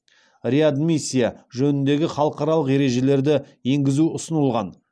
реадмиссия жөніндегі халықаралық ережелерді енгізу ұсынылған